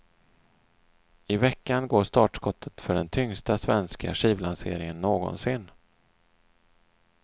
I veckan går startskottet för den tyngsta svenska skivlanseringen någonsin.